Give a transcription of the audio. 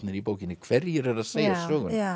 í bókinni hverjir eru að segja söguna